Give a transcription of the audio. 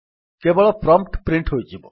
କେବଳ prompt print ହୋଇଯିବ